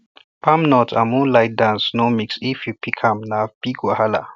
palm nut and moonlight dance no mixif you pick am na big wahala